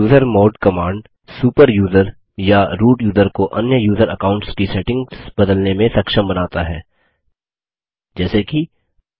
usermod command super user या root user को अन्य यूज़र अकाउंट्स की सेटिंग्स बदलने में सक्षम बनता है जैसे कि